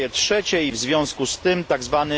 na tzw. kraje trzecie i w związku z tym